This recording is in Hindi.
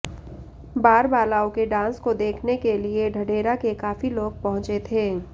बार बालाओं के डांस को देखने के लिए ढढेरा के काफी लोग पहुंचे थे